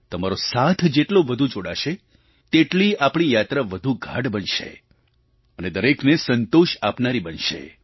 તમારો સાથ જેટલો વધુ જોડાશે તેટલી આપણી યાત્રા વધુ ગાઢ બનશે અને દરેકને સંતોષ આપનારી બનશે